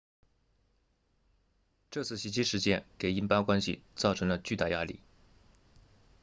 这次袭击事件给印巴关系造成了巨大压力